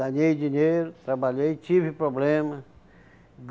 Ganhei dinheiro, trabalhei, tive problema